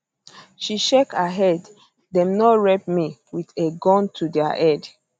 she shake she shake her head dem no rape me with a gun to dia head